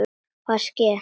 Hvað er að ske?